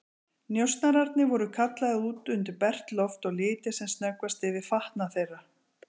Njósnararnir voru kallaðir út undir bert loft og litið sem snöggvast yfir fatnað þeirra.